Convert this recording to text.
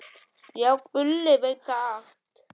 Já, Gulli veit þetta allt.